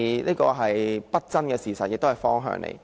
這是不爭的事實，亦是一個方向。